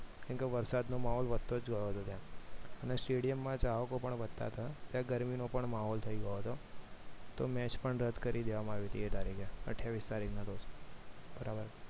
કેમ કે વરસાદનો માહોલ વધતો જતો તો અને stadium માં ચાહકો પણ વધતા તા અને ગરમીનો પણ માહોલ થઈ ગયો હતો તો match પણ રદ કરી દેવામાં આવી હતી એ તારીખે અઠ્ઠાવીશ તારીખ ના રોજ બરાબર